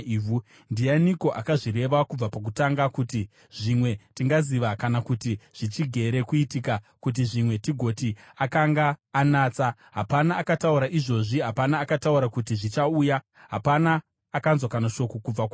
Ndianiko akazvireva kubva pakutanga, kuti zvimwe, tingaziva, kana kuti zvichigere kuitika, kuti zvimwe tigoti, ‘Akanga anatsa?’ Hapana akataura izvozvi, hapana akataura kuti zvichauya, hapana akanzwa kana shoko kubva kwamuri.